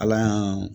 Ala y'a